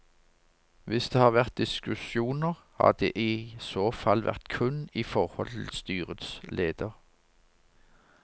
Hvis det har vært diskusjoner, har det i så fall vært kun i forhold til styrets leder.